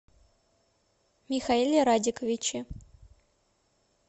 михаиле радиковиче